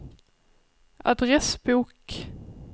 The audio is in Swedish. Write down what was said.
adressbok